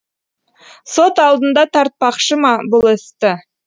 сот алдында тартпақшы ма бұл істі